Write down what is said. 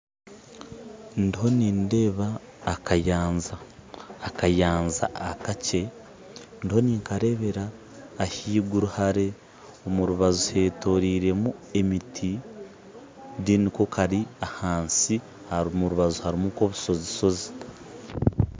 Ndiho nindeeba akayanja akakye ndiho ninkareebera ahaiguru hare omurubaju hetoroirwemu emiti ndero ko kari ahansi omurubaju harimu kobushozi shozi